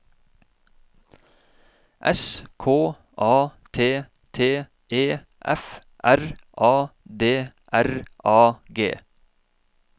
S K A T T E F R A D R A G